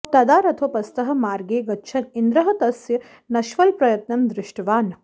तदा रथोपस्थः मार्गे गच्छन् इन्द्रः तस्य नष्फलप्रयत्नं दृष्टवान्